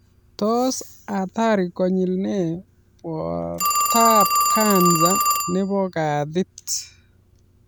Tos hatari konyil ne bortaab kansa nebo kaatit